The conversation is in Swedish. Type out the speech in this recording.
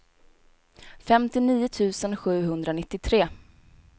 femtionio tusen sjuhundranittiotre